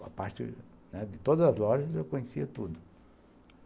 A parte de todas as lojas eu conhecia tudo.